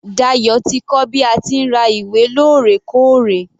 Dayo ti kọ́ bí a ti ń ra ìwé lórẹkóòrè.